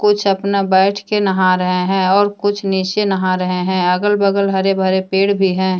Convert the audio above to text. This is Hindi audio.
कुछ अपना बैठ के नहा रहे हैं और कुछ नीचे नहा रहे हैं अगल-बगल हरे-भरे पेड़ भी हैं।